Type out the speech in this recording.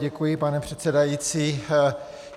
Děkuji, pane předsedající.